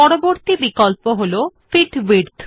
পরবর্তী বিকল্প হল ফিট টো উইডথ